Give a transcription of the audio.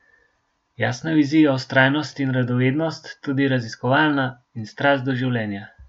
Jasna vizija, vztrajnost in radovednost, tudi raziskovalna, in strast do življenja.